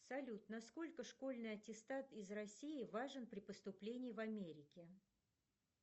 салют на сколько школьный аттестат из россии важен при поступлении в америке